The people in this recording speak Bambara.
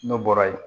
N'o bɔra ye